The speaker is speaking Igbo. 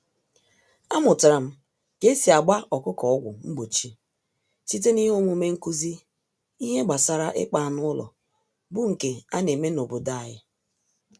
Amụtaram K'esi agba ọkụkọ ọgwụ mgbochi, site n'ihe omume nkụzi ìhè gbasara ịkpa anụ ụlọ, bu nke aneme n'obodo anyị.